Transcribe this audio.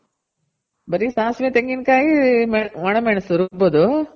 ಬರಿ ಸಾಸ್ವೆ, ತೆಂಗಿನ್ಕಾಯ್ ಒಣ ಮೆಣಸು ರುಬ್ಬೋದು